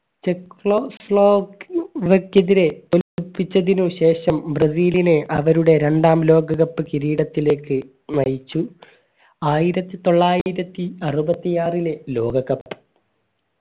തിരെ തിനുശേഷം ബ്രസീലിനെ അവരുടെ രണ്ടാം ലോക cup കിരീടത്തിലേക്ക് നയിച്ചു ആയിരത്തിത്തൊള്ളായിരത്തിഅറുപത്തിആറിലെ ലോക cup